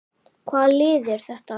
Hvaða lið er þetta?